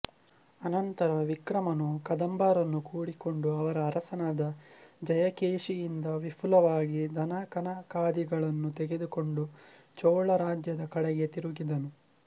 ಅನಂತರ ವಿಕ್ರಮನು ಕದಂಬರನ್ನು ಕೂಡಿಕೊಂಡು ಅವರ ಅರಸನಾದ ಜಯಕೇಶಿಯಿಂದ ವಿಪುಲವಾಗಿ ಧನಕನಕಾದಿಗಳನ್ನು ತೆಗೆದುಕೊಂಡು ಚೋಳರಾಜ್ಯದ ಕಡೆಗೆ ತಿರುಗಿದನು